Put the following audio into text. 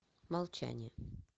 молчание